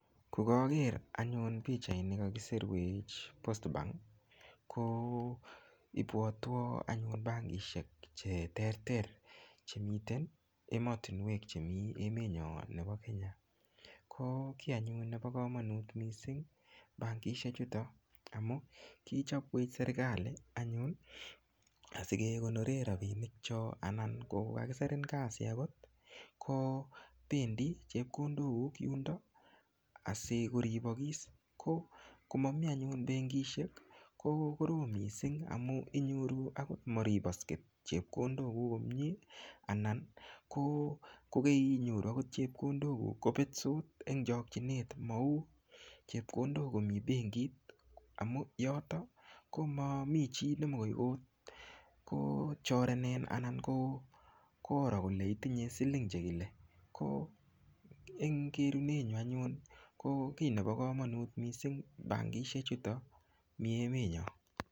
Kokaker anyun pichait ni kakiserwech anyun postbank ko ipwotwo anyun bankishek cheterter chemiten ematunwek chemii emet nyo nepo Kenya ko kiy anyun nepo komonut mising bankishek chuto amun kichopwech serikali anyun asikekonore ropinik cho anan kokakiserin kasi akot kopendi chepkondok kuk yundo asikoripokis ko komami anyun benkishek ko korom mising amu inyoru akot maripasket chepkondok kuk komie anan kokeinyoru akot chepkondok kuk kopetsot eng chokchinet mau chepkondok komi benkiit amun yoto komami chii nemokoi kochorenen anan koro kole itinye siling chekile ko eng kerunenyu anyun ko kiy nepo komonut mising bankishek chuto mi emetnyo.